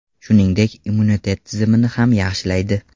Shuningdek, immunitet tizimini ham yaxshilaydi.